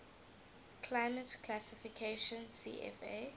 climate classification cfa